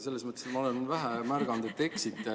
Selles mõttes, et ma olen vähe märganud, et te eksite.